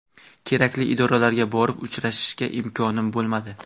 Kerakli idoralarga borib uchrashishga imkonim bo‘lmadi.